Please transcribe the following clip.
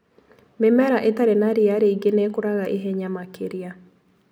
Mĩmera ĩtarĩ na ria rĩingĩ nĩĩkũraga ihenya makĩria.